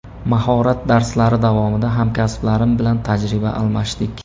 Mahorat darslari davomida hamkasblarim bilan tajriba almashdik.